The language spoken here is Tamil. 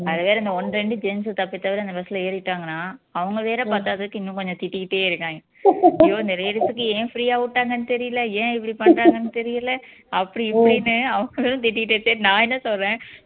அது வேற இன்னும் ஒண்ணு ரெண்டு தெரிஞ்சு தப்பி தவறி அந்த bus ல ஏறிட்டாங்கன்னா அவங்க வேற பத்தாததுக்கு இன்னும் கொஞ்சம் திட்டிகிட்டே இருக்காங்க ஐயோ நிறைய இடத்துக்கு ஏன் free ஆ விட்டாங்கன்னு தெரியல ஏன் இப்படி பண்றாங்கன்னு தெரியல அப்படி இப்படின்னு அவங்களும் திட்டிட்டே சரி நான் சொல்றேன்